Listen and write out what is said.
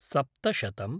सप्तशतम्